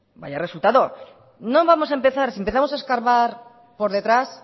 vaya resultado no vamos a empezar si empezamos a escarbar por detrás